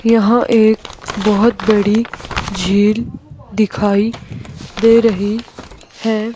यहां एक बहुत बड़ी झील दिखाई दे रही है।